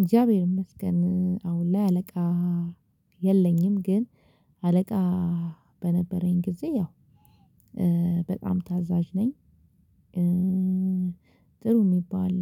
እግዚአብሔር ይስገን አሁን ላይ አለቃ የለኝም። ግን አለቃ በነበረኝ ጊዜ ያው በጣም ታዛዥ ነኝ። ጥሩ የሚባል